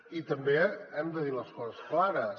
i també hem de dir les coses clares